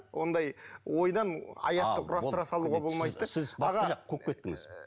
ондай ойдан аятты құрастыра салуға болмайды да сіз басқа жаққа қуып кеттіңіз